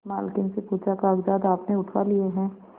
मालकिन से पूछाकागजात आपने उठवा लिए हैं